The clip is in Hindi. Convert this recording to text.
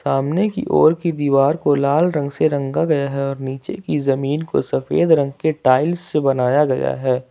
सामने की ओर की दीवार को लाल रंग से रंगा गया है और नीचे की जमीन को सफेद रंग के टाइल्स से बनाया गया है।